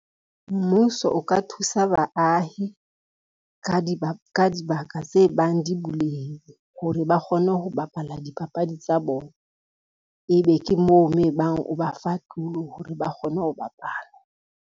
Mmuso o ka thusa baahi, ka dibaka tse bang di buleile hore ba kgone ho bapala dipapadi tsa bona, ebe ke moo mo e bang o ba fa tulo hore ba kgone ho bapala.